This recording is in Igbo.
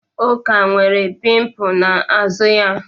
Uko nwere pimpụ n'azụ ya.